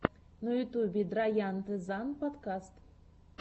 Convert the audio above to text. на ютюбе драянте зан подкаст